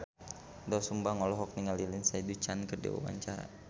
Doel Sumbang olohok ningali Lindsay Ducan keur diwawancara